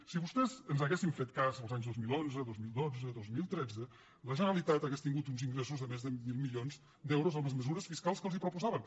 si vostès ens haguessin fet cas els anys dos mil onze dos mil dotze dos mil tretze la generalitat hauria tingut uns ingressos de més de mil milions d’euros amb les mesures fiscals que els proposàvem